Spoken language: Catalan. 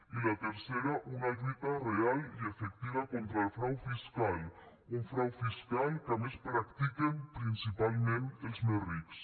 i la tercera una lluita real i efectiva contra el frau fiscal un frau fiscal que a més practiquen principalment els més rics